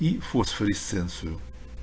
и фосфоресценцию